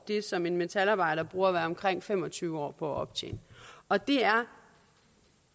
det som en metalarbejder bruger omkring fem og tyve år på at optjene og det er